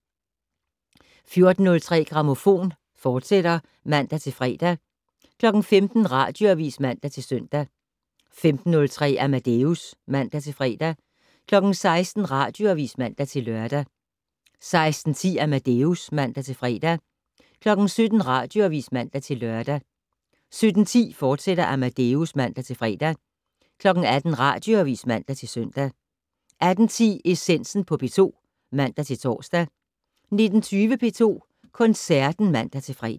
14:03: Grammofon, fortsat (man-fre) 15:00: Radioavis (man-søn) 15:03: Amadeus (man-fre) 16:00: Radioavis (man-lør) 16:10: Amadeus (man-fre) 17:00: Radioavis (man-lør) 17:10: Amadeus, fortsat (man-fre) 18:00: Radioavis (man-søn) 18:10: Essensen på P2 (man-tor) 19:20: P2 Koncerten (man-fre)